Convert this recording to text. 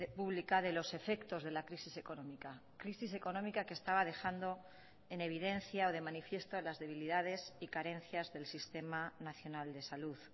pública de los efectos de la crisis económica crisis económica que estaba dejando en evidencia o de manifiesto las debilidades y carencias del sistema nacional de salud